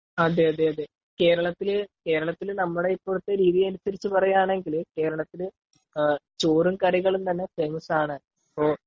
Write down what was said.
അതെ അതെ.കേരളത്തിൽ നമ്മുടെ ഇപ്പോഴത്തെ രീതി അനുസരിച്ചു പറയുവാണെങ്കിൽ ,കേരളത്തിൽ ചോറും കറികളും തന്നെ ഫേമസ്‌ ആണ് .